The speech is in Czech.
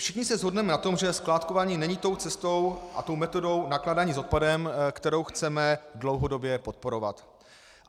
Všichni se shodneme na tom, že skládkování není tou cestou a tou metodou nakládání s odpadem, kterou chceme dlouhodobě podporovat.